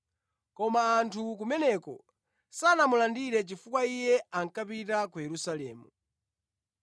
koma anthu kumeneko sanamulandire chifukwa Iye ankapita ku Yerusalemu.